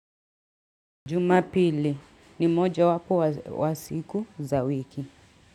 Juma pili ni moja wapo wa siku za wiki.